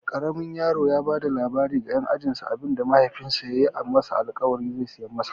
Ƙaramin yaron ya bada labarin ga ƴan ajinsu abinda mahaifinsa yayi masa alƙawarin ze siya masa.